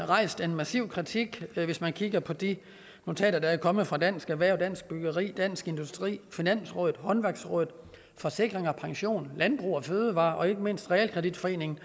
rejst en massiv kritik hvis man kigger på de notater der er kommet fra dansk erhverv dansk byggeri dansk industri finansrådet håndværksrådet forsikring pension landbrug fødevarer og ikke mindst realkreditforeningen